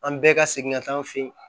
An bɛɛ ka segin ka taa an fɛ yen